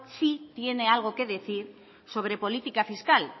sí tiene algo que decir sobre política fiscal